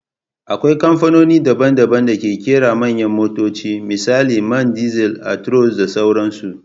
Akwai kamfanoni daban-daban da ke kera manyan motoci misali Man diesel, Actross da sauransu.